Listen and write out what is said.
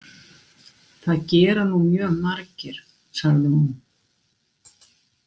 Það gera nú mjög margir, sagði hún.